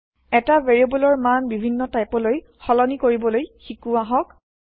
এটা ভেৰিয়েব্লৰ মান বিভিন্ন টাইপলৈ সলনি কৰিবলৈ শিকো আহক